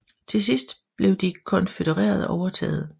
Til sidst fik de konfødererede overtaget